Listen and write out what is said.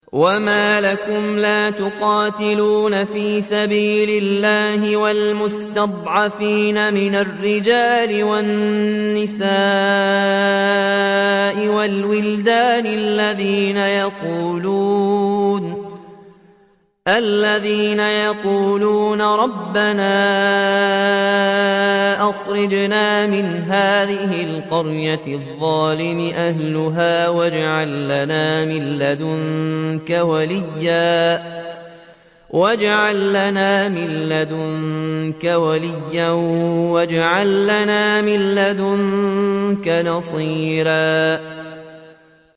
وَمَا لَكُمْ لَا تُقَاتِلُونَ فِي سَبِيلِ اللَّهِ وَالْمُسْتَضْعَفِينَ مِنَ الرِّجَالِ وَالنِّسَاءِ وَالْوِلْدَانِ الَّذِينَ يَقُولُونَ رَبَّنَا أَخْرِجْنَا مِنْ هَٰذِهِ الْقَرْيَةِ الظَّالِمِ أَهْلُهَا وَاجْعَل لَّنَا مِن لَّدُنكَ وَلِيًّا وَاجْعَل لَّنَا مِن لَّدُنكَ نَصِيرًا